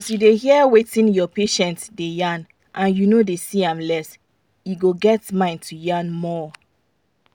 as you da hear wetin your patient da yan and you no da see am less e go get mind to yan you more